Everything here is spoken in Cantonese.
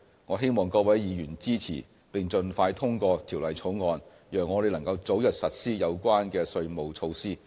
我希望各位議員支持，並盡快通過《條例草案》，讓我們能早日實施有關的稅務措施。